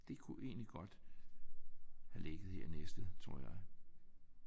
Det kunne egentlig godt have ligget her i Næstved tror jeg